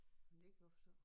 Men det kan jeg godt forstå